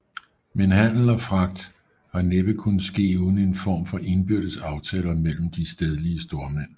Men handel og fragt har næppe kunnet ske uden en form for indbyrdes aftaler mellem de stedlige stormænd